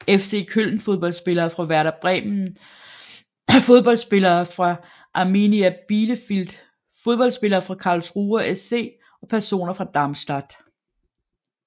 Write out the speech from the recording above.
FC Köln Fodboldspillere fra Werder Bremen Fodboldspillere fra Arminia Bielefeld Fodboldspillere fra Karlsruher SC Personer fra Darmstadt